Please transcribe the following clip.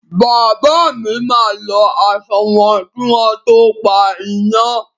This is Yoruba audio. Bàbá mi máa lọ aṣọ wọn kí wọ́n to pa iná.